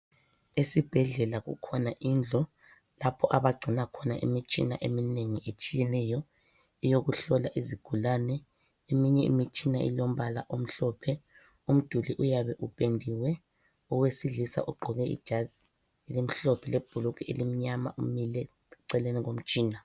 Esibhedlela kukhona indlu lapho abagcina khona imitshina eminengi etshiyeneyo eyokuhlola izigulane. Eminye imitshina ilombala omhlophe, umduli uyabe upendiwe. Owesilisa ugqoke ijazi elimhlophe lebhulugwe elimnyama, umile eceleni komtshina.